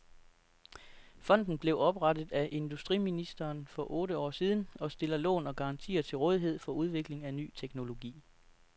Fonden blev oprettet af industriministeren for otte år siden, og stiller lån og garantier til rådighed for udvikling af ny teknologi.